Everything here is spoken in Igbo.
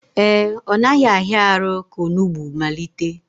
Ee, ọ naghị ahịa arụ ka onugbu malite